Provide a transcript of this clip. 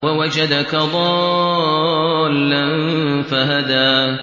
وَوَجَدَكَ ضَالًّا فَهَدَىٰ